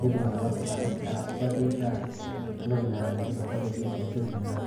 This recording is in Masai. mitumoki atangasu arasu aa supati naa toki na supat ata seseni lang.